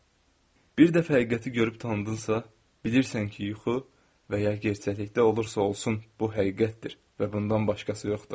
Bir dəfə həqiqəti görüb tanıdımsa, bilirsən ki, yuxu və ya gerçəklikdə olursa olsun, bu həqiqətdir və bundan başqası yoxdur.